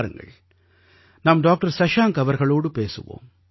வாருங்கள் நாம் டாக்டர் சஷாங்க் அவர்களோடு பேசுவோம்